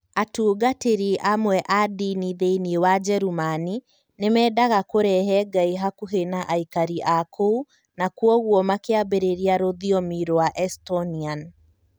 Atungatĩri amwe a ndini thĩinĩ wa Njerumani[German] nĩ meendaga kũrehe Ngai hakuhi na aikari a kũu, na kwoguo makĩambĩrĩria rũthiomi rwa Estonian.